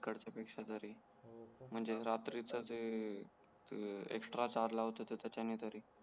तिकडच्या पेक्षा तरी म्हणजे रात्रीच जे ते एक्सट्रा चार्जे लावत त्याच्याने तरी